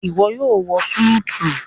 iwọ yoo wọ Súìtì